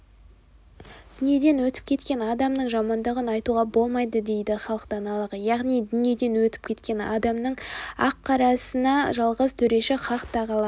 дүниеден өтіп кеткен адамның жамандығын айтуға болмайды дейді халық даналығы яғни дүниеден өтіп кеткен адамның аққарасына жалғыз төреші хақ тағала